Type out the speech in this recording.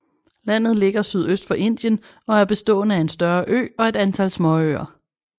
Landet ligger sydøst for Indien og er bestående af en større ø og et antal småøer